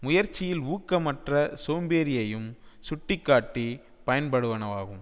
முயற்சியில் ஊக்கமற்ற சோம்பேறியையும் சுட்டி காட்டி பயன்படுவனவாகும்